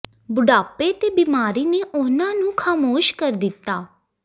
ਬੁਢਾਪੇ ਤੇ ਬਿਮਾਰੀ ਨੇ ਉਹਨਾਂ ਨੂੰ ਖਾਮੋਸ਼ ਕਰ ਦਿੱਤਾ